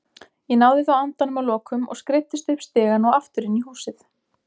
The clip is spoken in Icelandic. Ég náði þó andanum að lokum og skreiddist upp stigann og aftur inn í húsið.